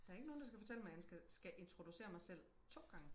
der er ikke nogen der skal fortælle mig jeg skal skal introducere mig selv to gange